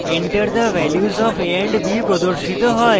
enter the values of a and b প্রদর্শিত হয়